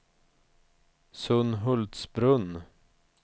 Sunhultsbrunn